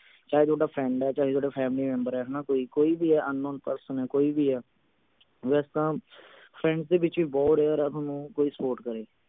ਚਾਹੇ ਥੋਡਾ friend ਹੈ ਚਾਹੇ ਥੋਡਾ family member ਹੈ ਹਣਾ ਕੋਈ ਕੋਈ ਵੀ unknown person ਹੈ ਕੋਈ ਵੀ ਹੈ ਵੈਸੇ ਤਾਂ friends ਦੇ ਵਿਚ ਵੀ ਬਹੁਤ rare ਆ ਕੋਈ ਥੋਨੂੰ support ਕਰੇ